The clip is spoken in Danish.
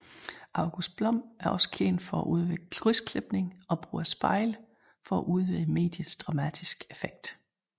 August Blom er også kendt for at udvikle krydsklipning og brug af spejle for at udvide mediets dramatiske effekt